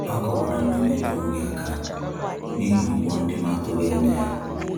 A kọwara m na m enyewughi aka nihi ụgwọ ndị m atughi anya ya